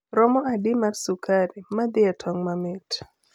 romo adi mar sukari madhie e tong mamait